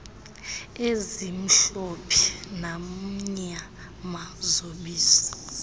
ezimhlophe namnyama zobisi